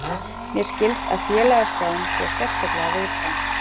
Mér skilst að félagaskráin sé sérstaklega viðkvæm